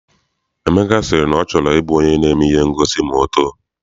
Emeka si na ọ chọrọ I bụ onye na-eme ihe ngosi ma ọ too.